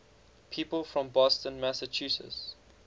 people from boston massachusetts